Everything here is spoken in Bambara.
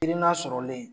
Hakilina sɔrɔlen